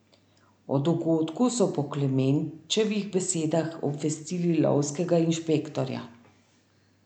O dogodku so po Klemenčevih besedah obvestili lovskega inšpektorja.